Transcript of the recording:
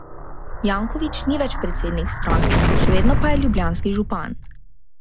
Janković ni več predsednik stranke, še vedno pa je ljubljanski župan.